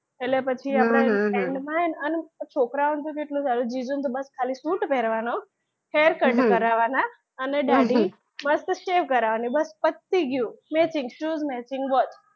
એટલે પછી end માં આપડે બધુ છોકરાઓને તો કેટલું સારું જીજુ ને બસ ખાલી શુટ પેરવાનો, haircut કરાવાનાં અને દાઢી મસ્ત serve કરાવાની, બસ પતી ગયું matching shoes matching watch